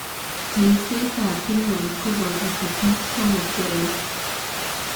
Cheng'seet ab pinworms kobooto techniques somok cheroisi